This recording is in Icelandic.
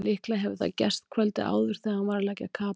Líklega hefur það gerst kvöldið áður þegar hann var að leggja kapal.